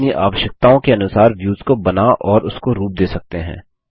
हम अपनी आवश्यकताओं के अनुसार व्यूज को बना और उसको रूप दे सकते हैं